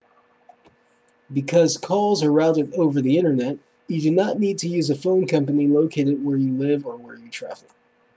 because calls are routed over the internet you do not need to use a phone company located where you live or where you travel